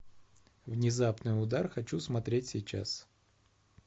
внезапный удар хочу смотреть сейчас